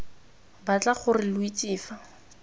batla gore lo itse fa